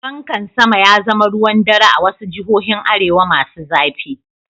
Pankan sama ya zama ruwan dare a wasu jihohin arewa masu zafi.